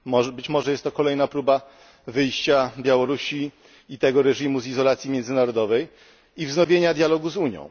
Być może jest to kolejna próba wyjścia Białorusi i tego reżimu z izolacji międzynarodowej i wznowienia dialogu z Unią.